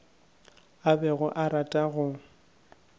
a bego a rata go